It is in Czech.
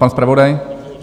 Pan zpravodaj?